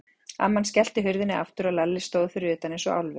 Amman skellti hurðinni aftur og Lalli stóð fyrir utan eins og álfur.